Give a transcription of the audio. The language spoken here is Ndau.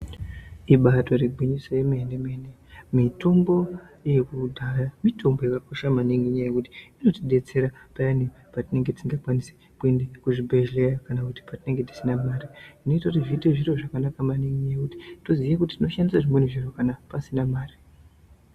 Ibaari gwinyiso yemene mene mitombo yekudhaya mitombo yakakosha maningi ngekuti inotidetsera payane patinenge tisingakwanisi kuenda kuzvibhedhleya kana kuti payane patinenge tisina mare . Zvinoita kuti zviite zviro zvakanaka maningi ngekuti zvinoita zvimweni zviro kana pasina mare.